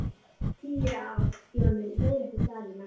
Tíu ár Jón minn, leiðrétti Daðína.